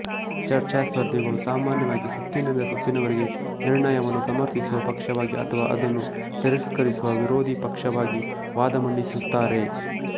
ಚರ್ಚಾಸ್ಪರ್ಧಿಗಳು ಸಾಮಾನ್ಯವಾಗಿ ಸುತ್ತಿನಿಂದ ಸುತ್ತಿನವರೆಗೆ ನಿರ್ಣಯವನ್ನು ಸಮರ್ಥಿಸುವ ಪಕ್ಷವಾಗಿ ಅಥವಾ ಅದನ್ನು ತಿರಸ್ಕರಿಸುವ ವಿರೋಧಿ ಪಕ್ಷವಾಗಿ ವಾದ ಮಂಡಿಸುತ್ತಾರೆ